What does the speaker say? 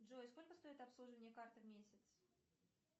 джой сколько стоит обслуживание карты в месяц